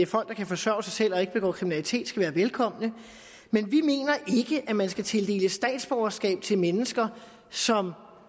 folk der kan forsørge sig selv og ikke begår kriminalitet skal være velkomne men vi mener ikke at man skal tildele statsborgerskab til mennesker som